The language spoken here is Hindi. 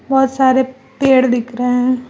बहोत सारे पेड़ दिख रहे हैं।